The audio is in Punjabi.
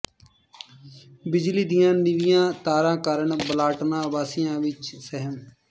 ਬਿਜਲੀ ਦੀਆਂ ਨੀਵੀਆਂ ਤਾਰਾਂ ਕਾਰਨ ਬਲਟਾਣਾ ਵਾਸੀਆਂ ਵਿੱਚ ਸਹਿਮ